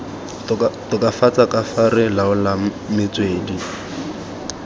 tokafatsa kafa re laolang metswedi